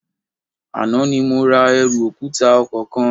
Àná ni mo ra ẹrù òkúta ọkọ̀ kan